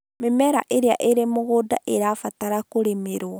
Mĩmera ĩrĩa ĩrĩ mũgũnda ĩrabatara kũrĩmĩrwo